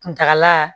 Kuntala